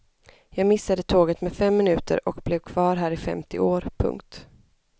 Jag missade tåget med fem minuter och blev kvar här i femtio år. punkt